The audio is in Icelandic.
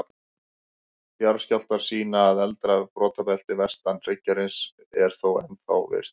Jarðskjálftar sýna að eldra brotabeltið, vestan hryggjarins, er þó ennþá virkt.